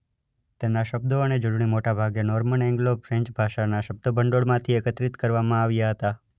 તેના શબ્દો અને જોડણી મોટા ભાગે નોર્મન એન્ગ્લો ફ્રેન્ચ ભાષાના શબ્દભંડોળમાંથી એકત્રિત કરવામાં આવ્યા હતા.